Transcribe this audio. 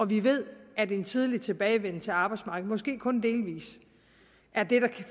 vi ved at en tidlig tilbagevenden til arbejdsmarkedet måske kun delvis er det der i